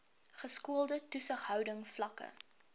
geskoolde toesighouding vlakke